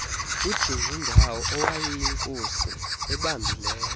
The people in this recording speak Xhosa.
kudingindawo owayeyinkosi ebambileyo